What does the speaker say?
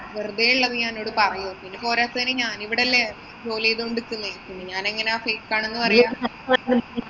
വെറുതെയുള്ളത് ഞാന്‍ ഇന്നോട് പറയോ. പോരാത്തതിന് ഞാനിവിടയല്ലേ ജോലി ചെയ്തു കൊണ്ട് നിക്കുന്നെ. പിന്നെ ഞാനെങ്ങനാ fake ആണെന്ന് പറയ്ക